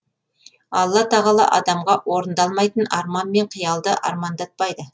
алла тағала адамға орындалмайтын арман мен қиялды армандатпайды